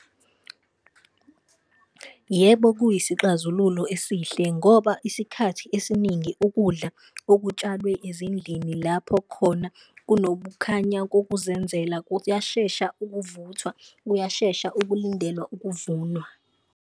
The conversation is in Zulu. Yebo, kuyisixazululo esihle ngoba isikhathi esiningi ukudla okutshalwe ezindlini lapho khona kunobukhanya kokuzenzela kuyashesha ukuvuthwa, kuyashesha ukulindela ukuvunwa.